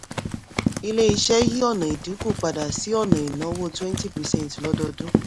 ilé-iṣẹ́ yí ọ̀nà ìdínkù padà sí ọ̀nà ìnáwó twenty percent lodọdún.